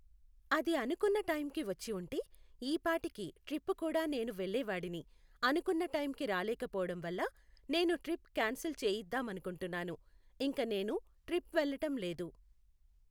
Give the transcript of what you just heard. అది అనుకున్న టైంకి వచ్చి ఉంటే ఈపాటికి ట్రిప్పు కూడా నేను వెళ్ళేవాడిని. అనుకున్న టైంకి రాలేకపోవటం వల్ల నేను ట్రిప్ క్యాన్సిల్ చేయిద్దామనుకుంటున్నాను. ఇంక నేను ట్రిప్ వెళ్ళటం లేదు.